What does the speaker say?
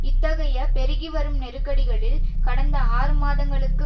இத்தகைய பெருகிவரும் நெருக்கடிகளில் கடந்த ஆறு மாதங்களுக்கு